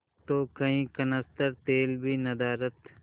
तो कई कनस्तर तेल भी नदारत